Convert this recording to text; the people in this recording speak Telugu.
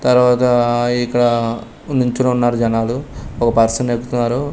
తర్వాత ఆ ఇక్కడ నుంచొని ఉన్నారు జనాలు ఒ పర్సన్ ఎక్కుతున్నారు.